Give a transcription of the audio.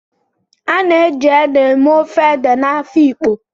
A na-eji ede eme ofe ede na Afikpo